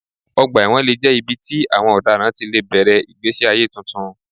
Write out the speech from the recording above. Ọgbà ẹ̀wọ̀n lè jẹ́ ibi tí àwọn ọ̀daràn ti lè bẹ̀rẹ̀ ìgbésí ayé tuntun.